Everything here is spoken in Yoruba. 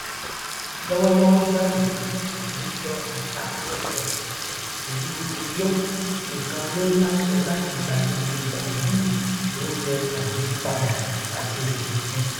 lọwọlọwọ báyìí victor attah airport tìlú uyọ nìkan ló láṣẹ láti gbàlejò bàlúù tó ń lọ tàbí padà láti òkèòkun